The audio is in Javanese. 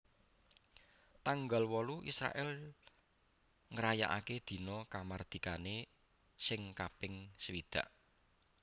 tanggal wolu Israèl ngrayakaké dina kamardikané sing kaping swidak